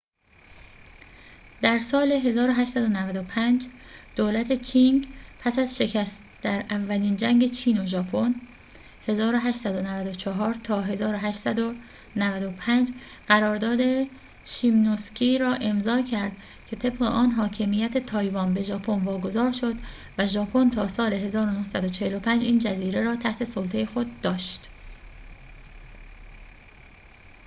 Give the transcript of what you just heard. در سال 1895، دولت چینگ پس از شکست در اولین جنگ چین و ژاپن 1894 تا 1895 قرارداد شیمونوسکی را امضا کرد که طبق آن حاکمیت تایوان به ژاپن واگذار شد و ژاپن تا سال 1945 این جزیره را تحت سلطه خود داشت